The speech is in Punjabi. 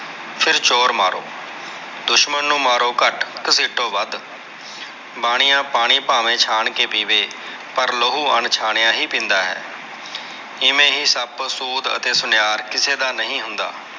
ਫੇਰ ਚੋਰ ਮਾਰੋ ਦੁਸ਼ਮਣ ਨੂੰ ਮਾਰੋ ਘਟ, ਘਸੀਟੋ ਵੱਧ ਬਾਣੀਆ ਪਾਣੀ ਪਾਵੇ ਛਾਣ ਕੇ ਪੀਵੇ ਪਾਰ ਲਹੂ ਊੰਚਾਨੀਆ ਹੀ ਪੀਂਦਾ ਹੈ ਐਵੇਂ ਹੀ ਸੱਪ ਸੂਦ ਅਤੇ ਸੁਨਿਆਰ ਕਿਸੇ ਦਾ ਨੀ ਹੁੰਦਾ।